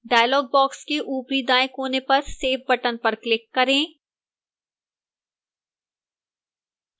dialog box के ऊपरी दाएं कोने पर save button पर click करें